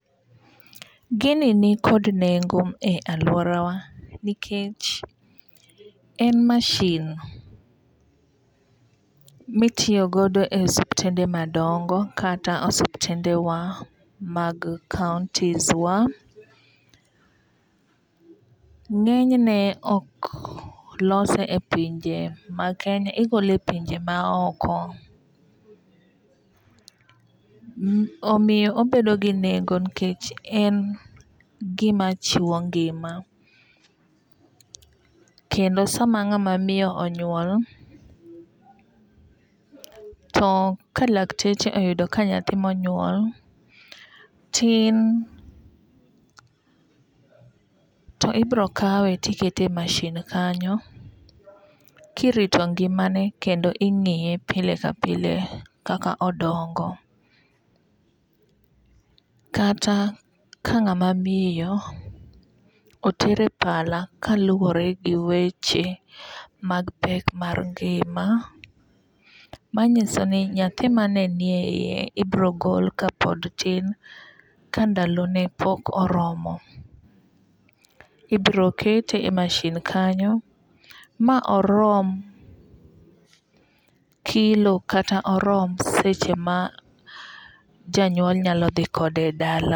Gini ni kod nengo e aluora wa nikech en mashin mitiyo godo e osiptende madongo kata osiptende wa mag kautis wa. Ng'eny ne ok lose e pinje ma Kenya igole e pinje ma oko. Omiyo obedo gi nengo nikech en gima chiwo ngima. Kendo sama ng'ama miyo onyuol, to ka lakteche oyudo ka nyathi monyuol tin to ibiro kawe tikete e mashin kanyo kirito ngimane kendo ing'iye pile ka pile kaka odongo. Kata ka ng'ama miyo otere pala kaluwore gi weche mag pek mar ngima manyiso ni nyathi mane ni e yie ibiro gol kapod tin ka ndalone pok oromo. Ibiro kete e mashin kanyo ma orom kilo kata orom seche ma janyuol nyalo dhi kode dala.